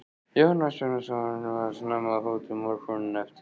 Jón Ásbjarnarson var snemma á fótum morguninn eftir.